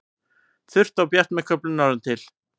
Þurrt og bjart með köflum norðantil